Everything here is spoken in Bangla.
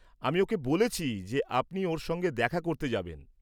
আমি ওঁকে বলেছি যে আপনি ওঁর সঙ্গে দেখা করতে যাবেন।